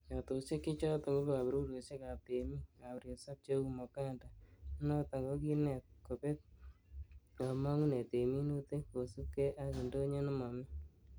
Yatosiek che choton ko koborurosiekab temik ab resop cheu Moganda, nenoton kokinet kobet komongunet en minutik kosiibge ak indonyo ne momi.